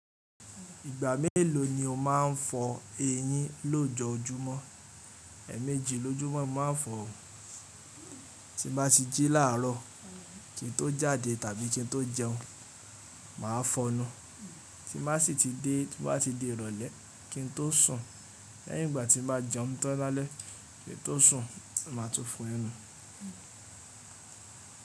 Ìgbà mélòó ni o máa ń fọ eyín lójoójúmọ́? Ẹ̀ẹ̀mejì lójúmọ́ mo máa ń fọ òun. Tí bá ti jí láàrọ́ kí n tó jáde tàbí kí n tó jẹun, màá fọnu. Tí bá sì ti dé, bá ti di ìrọ̀lẹ́ kí n tó sùn. Lẹ́yìn ìgbà tí bàá jẹun tán lálẹ́, kí n tó sùn, màá tún fọ ẹnu.